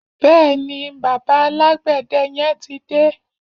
Bẹ́ẹ̀ni, bàbá alágbède yẹn ti dé.